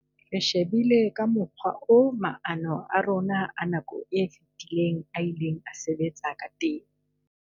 "Re shebile ka mokgwa oo maano a rona a nako e fetileng a ileng a sebetsa ka teng."